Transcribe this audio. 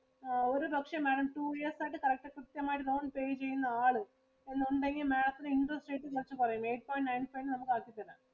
ആ ഒരു പക്ഷെ Madam two years ആയിട്ടു correct system ആയിട്ടു loan pay ചെയ്യുന്ന ആള് എന്നുണ്ടെങ്കിൽ Madam ത്തിനു interest rate കുറച്ചു കുറയും. Eight point nine five ഇന് നമുക്ക് ആക്കി തരാം.